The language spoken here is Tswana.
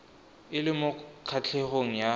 e le mo kgatlhegong ya